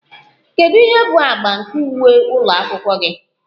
Kedu ihe bụ agba nke uwe ụlọ akwụkwọ gị?